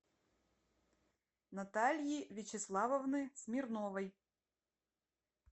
натальи вячеславовны смирновой